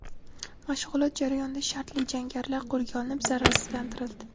Mashg‘ulot jarayonida shartli jangarilar qo‘lga olinib, zararsizlantirildi.